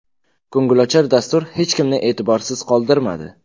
Ko‘ngilochar dastur hech kimni e’tiborsiz qoldirmadi.